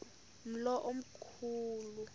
umlo omkhu lu